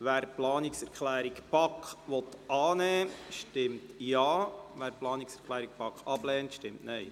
Wer die Planungserklärung der BaK annehmen will, stimmt Ja, wer diese ablehnt, stimmt Nein.